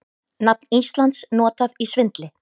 Nafn Íslands notað í svindli